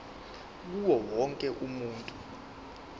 kuwo wonke umuntu